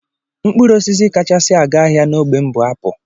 Mkpụrụosisi kachasị aga ahịa n'ógbè m bụ apụl